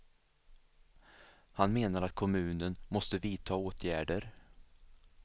Han menar att kommunen måste vidta åtgärder.